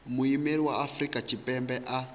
muimeli wa afrika tshipembe a